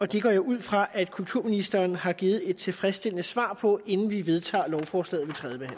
det går jeg ud fra at kulturministeren har givet et tilfredsstillende svar på inden vi vedtager lovforslaget